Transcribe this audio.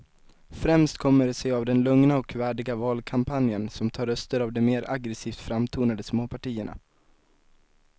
Främst kommer det sig av den lugna och värdiga valkampanjen som tar röster av de mer aggresivt framtonade småpartierna.